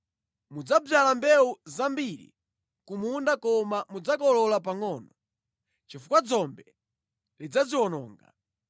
Mudzadzala mbewu zambiri ku munda koma mudzakolola pangʼono, chifukwa dzombe lidzaziwononga.